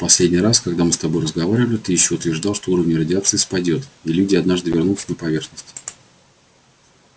в последний раз когда мы с тобой разговаривали ты ещё утверждал что уровень радиации спадёт и люди однажды вернутся на поверхность